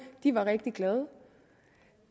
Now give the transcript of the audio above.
var rigtig glade